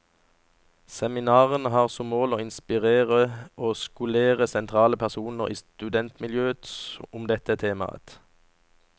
Seminarene har som mål å inspirere og skolere sentrale personer i studentmiljøet om dette temaet.